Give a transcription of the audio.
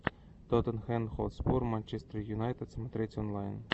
тоттенхэм хотспур манчестер юнайтед смотреть онлайн